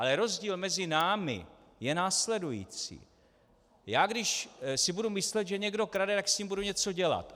Ale rozdíl mezi námi je následující: Já když si budu myslet, že někdo krade, tak s tím budu něco dělat.